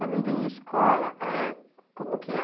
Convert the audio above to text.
Falando em escola, eh, como que é?